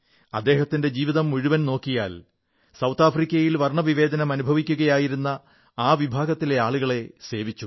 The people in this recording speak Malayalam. അദ്ദേഹത്തിന്റെ ജീവിതം മുഴുവൻ നോക്കിയാൽ ദക്ഷിണാഫ്രിക്കയിൽ വർണ്ണവിവേചനം അനുഭവിക്കുകയായിരുന്ന ആ വിഭാഗത്തിലെ ആളുകളെ സേവിച്ചു